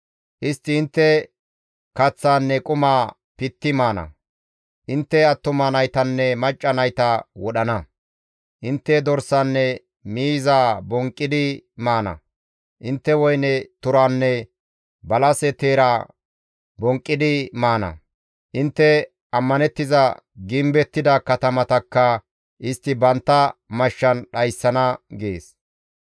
Istti intte kaththaanne qumaa pitti maana. Intte attuma naytanne macca nayta wodhana. Intte dorsanne miizaa bonqqidi maana. Intte woyne teeranne balase teera bonqqidi maana. Intte ammanettiza gimbettida katamatakka istti bantta mashshan dhayssana» gees.